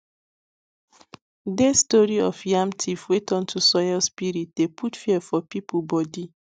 dey story of yam thief wey turn to soil spirit dey put fear for people body